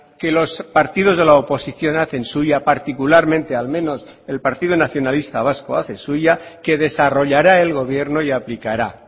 que los partidos de la oposición hacen suya particularmente al menos el partido nacionalista vasco hace suya que desarrollara el gobierno y aplicará